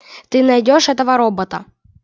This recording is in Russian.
ты найдёшь этого робота